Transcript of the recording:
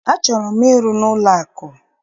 Achọrọ m ịrụ n'ụlọakụ.